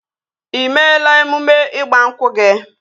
Ị meela emume ịgba nkwụ gị?